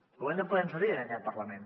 hem de poder nos ho dir en aquest parlament